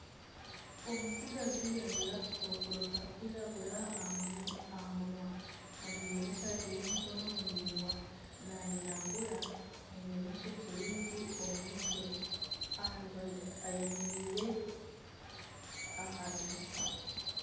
Omutsigazi ajwaire akakokoro karikwiragura aha munwa. Ajwaire n'esati y'emikono miringwa, nayiragura, aine n'ishokye ringi omu mutwe ayemereire aha dirisa.